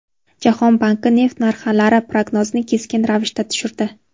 Jahon banki neft narxlari prognozini keskin ravishda tushirdi.